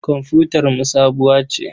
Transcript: Komfutarmu sabuwa ce.